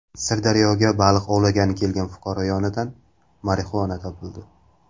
Sirdaryoga baliq ovlagani kelgan fuqaro yonidan marixuana topildi.